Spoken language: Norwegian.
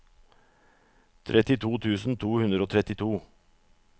trettito tusen to hundre og trettito